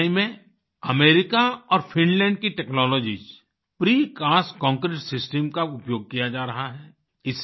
चेन्नई में अमेरिका और फिनलैंड की टेक्नोलॉजीज प्रीकास्ट कांक्रीट सिस्टम का उपयोग किया जा रहा है